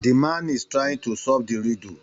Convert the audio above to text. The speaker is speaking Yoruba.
The man is trying to solve the riddle